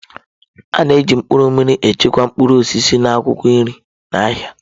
A na-eji mkpụrụ mmiri echekwa mkpụrụ osisi na akwụkwọ nri n'ahịa.